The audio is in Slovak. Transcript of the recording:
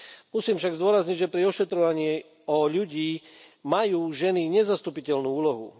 Musím však zdôrazniť, že pri ošetrovaní o ľudí majú ženy nezastupiteľnú úlohu.